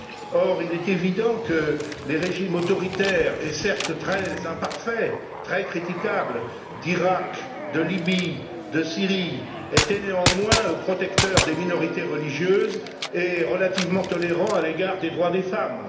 Or, il est évident que les régimes autoritaires, certes très imparfaits et très critiquables, d'Iraq, de Libye et de Syrie étaient néanmoins protecteurs des minorités religieuses et relativement tolérants à l'égard des droits des femmes.